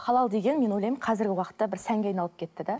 халал деген мен ойлаймын қазіргі уақытта бір сәнге айналып кетті де